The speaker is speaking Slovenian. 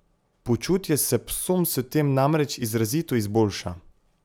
Počutje se psom s tem namreč izrazito izboljša.